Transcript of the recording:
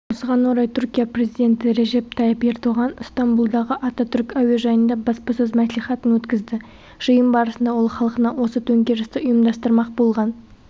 осыған орай түркия президенті режеп тайып ердоған ыстамбұлдағы ататүрік әуежайында баспасөз мәслихатын өткізді жиын барысында ол халқына осы төңкерісті ұйымдастырмақ болған